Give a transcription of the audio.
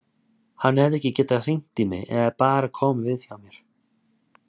Hann hefði alveg getað hringt í mig eða bara komið við hjá mér.